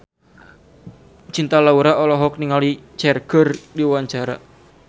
Cinta Laura olohok ningali Cher keur diwawancara